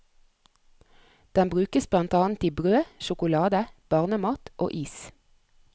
Den brukes blant annet i brød, sjokolade, barnemat og is.